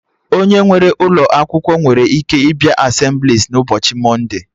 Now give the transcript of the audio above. Onye nwere ụlọ akwụkwọ nwere ike ịbịa Asemblịes n'ụbọchị mọnde